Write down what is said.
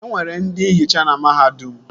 E nwere ndị nhicha na mahadum